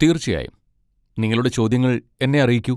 തീർച്ചയായും, നിങ്ങളുടെ ചോദ്യങ്ങൾ എന്നെ അറിയിക്കൂ.